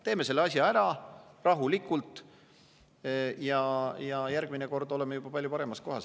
Teeme selle asja rahulikult ära ja järgmine kord oleme riigina juba palju paremas kohas.